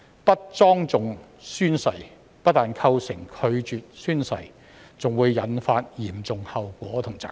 不莊重宣誓不但構成拒絕宣誓，還會引發嚴重後果和責任。